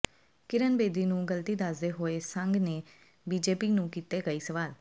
ਕਿਰਨ ਬੇਦੀ ਨੂੰ ਗੱਲਤੀ ਦੱਸਦੇ ਹੋਏ ਸੰਘ ਨੇ ਬੀਜੇਪੀ ਨੂੰ ਕੀਤੇ ਕਈ ਸਵਾਲ